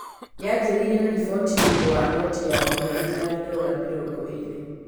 Yanjĩrĩirie na riboti nĩũndũ wa noti ya maheeni ya Dora mĩrongo ĩrĩ.